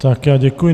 Také já děkuji.